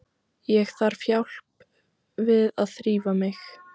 Ég þarf hjálp við að þrífa mig.